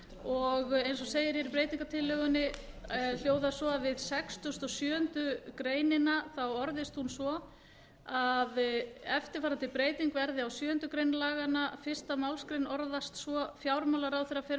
og eins og segir í breytingartillögunni hljóðar hún svo sextugustu og sjöundu grein orðist svo eftirfarandi breyting verði á sjöundu grein laganna fyrstu málsgrein orðast svo fjármálaráðherra fer með